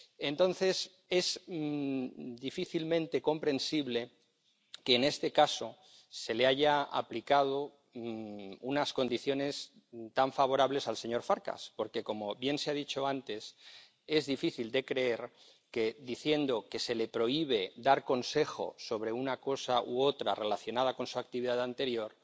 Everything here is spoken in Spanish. Entonces, es difícilmente comprensible que, en este caso, se le hayan aplicado unas condiciones tan favorables al señor Farkas, porque —como bien se ha dicho antes— es difícil de creer que, diciendo que se le prohíbe dar consejos sobre una cosa u otra relacionada con su actividad anterior,